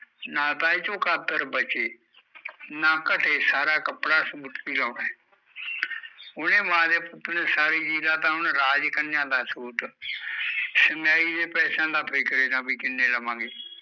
ਨਾ ਤਾਂ ਏਹਦੇ ਚੋ ਕਾਤਰ ਬਚੇ ਨਾ ਘਟੇ, ਸਾਰਾ ਕੱਪੜਾ ਸੂਟ ਤੇ ਲਾਉਣਾ ਐ ਉਹਨੇ ਮਾਂ ਦੇ ਪੁੱਤ ਨੇ ਸਾਰੀ ਤਾਂ ਉਹਨੇ ਰਾਜ ਕੰਨਿਆ ਦਾ ਸੂਟ ਸਿਮਆਈ ਦੇ ਪੈਸਿਆ ਦਾ ਫਿਕਰ ਈ ਨਾ ਵੀ ਕਿੰਨੇ ਲਵਾਂਗੇ?